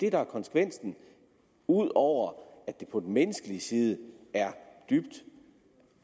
er konsekvensen ud over at det på den menneskelige side er dybt